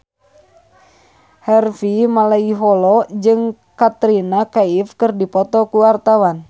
Harvey Malaiholo jeung Katrina Kaif keur dipoto ku wartawan